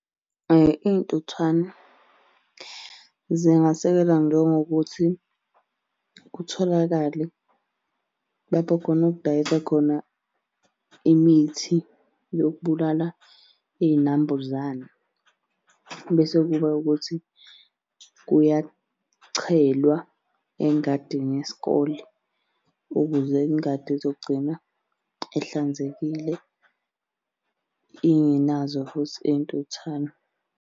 Iy'ntuthwane zingasekela njengokuthi kutholakale lapho khona okudayisa khona imithi yokubulala iy'nambuzane. Bese kuba ukuthi kuyachelwa engadini yesikole ukuze ingadi ezogcina ehlanzekile, ingenazo futhi iy'ntuthwane.